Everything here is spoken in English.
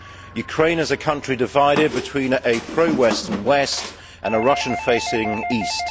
Ukraine is a country divided between a pro western west and a Russian facing east.